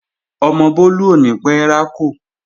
Ọmọ Bólú ò ní pẹ́ rákò